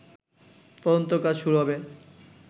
তদন্ত কাজ শুরু হবে